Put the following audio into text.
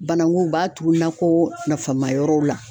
Bananku b'a tugu nakɔ nafamayɔrɔw la.